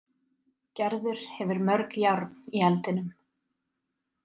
Gerður hefur mörg járn í eldinum.